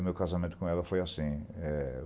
O meu casamento com ela foi assim. Eh